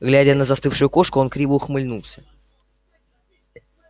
глядя на застывшую кошку он криво ухмыльнулся